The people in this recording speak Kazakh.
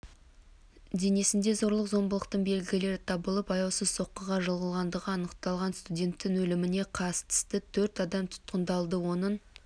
денесінде зорлық-зомбылықтың белгілері табылып аяусыз соққыға жығылғандығы анықталған студенттің өліміне қатысты төрт адам тұтқындалды оның